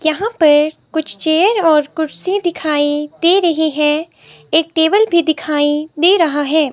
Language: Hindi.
यहां पर कुछ चेयर और कुर्सी दिखाई दे रही है एक टेबल भी दिखाई दे रहा है।